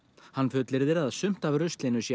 hann fullyrðir að sumt af ruslinu sé